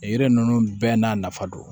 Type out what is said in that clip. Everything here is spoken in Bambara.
Yiri ninnu bɛɛ n'a nafa don